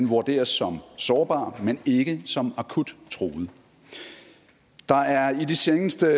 vurderes som sårbar men ikke som akut truet der er i de seneste